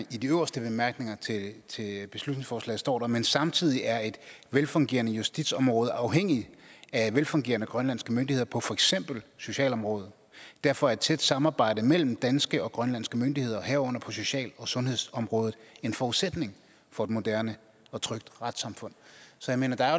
de øverste bemærkninger til beslutningsforslaget står der men samtidig er et velfungerende justitsområde afhængigt af velfungerende grønlandske myndigheder på for eksempel socialområdet derfor er et tæt samarbejde mellem danske og grønlandske myndigheder herunder på social og sundhedsområdet en forudsætning for et moderne og trygt retssamfund så jeg mener at der